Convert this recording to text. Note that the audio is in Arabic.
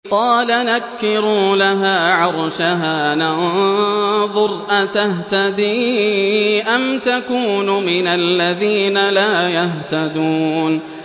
قَالَ نَكِّرُوا لَهَا عَرْشَهَا نَنظُرْ أَتَهْتَدِي أَمْ تَكُونُ مِنَ الَّذِينَ لَا يَهْتَدُونَ